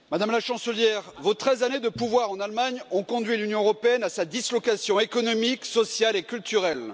Monsieur le Président, Madame la Chancelière, vos treize années de pouvoir en Allemagne ont conduit l'Union européenne à sa dislocation économique, sociale et culturelle.